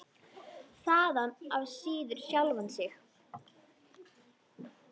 Þaðan af síður sjálfan sig.